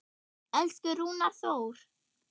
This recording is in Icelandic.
Elsku Rúnar Þór.